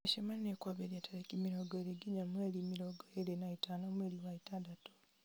mĩcemanio kwambĩrĩria tarĩki mĩrongo ĩrĩ nginya mweri mĩrongo ĩrĩ na ĩtano mweri wa ĩtandatũ